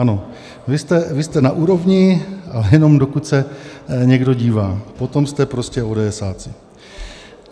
Ano, vy jste na úrovni, ale jenom dokud se někdo dívá, potom jste prostě ódeesáci.